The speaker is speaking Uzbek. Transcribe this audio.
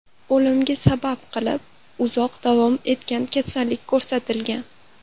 O‘limga sabab qilib uzoq davom etgan kasallik ko‘rsatilgan.